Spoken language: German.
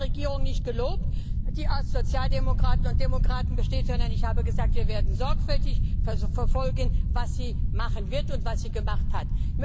Ich habe auch die Regierung nicht gelobt, die aus Sozialdemokraten und Demokraten besteht, sondern ich habe gesagt, wir werden sorgfältig verfolgen, was sie machen wird und was sie gemacht hat.